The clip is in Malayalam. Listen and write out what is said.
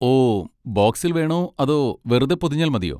ഓ, ബോക്സിൽ വേണോ അതോ വെറുതെ പൊതിഞ്ഞാൽ മതിയോ?